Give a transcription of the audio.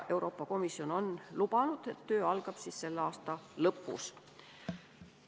Euroopa Komisjon on lubanud, et töö algab selle aasta lõpus.